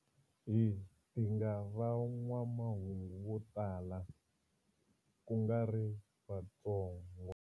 Hi dinga van'wamahungu vo tala, kungari vatsongo.